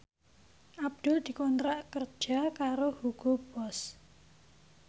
Abdul dikontrak kerja karo Hugo Boss